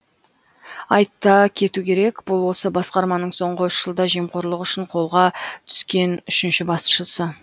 айта кету керек бұл осы басқарманың соңғы үш жылда жемқорлық үшін қолға түскен үшінші басшысы